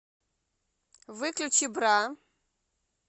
выключи бра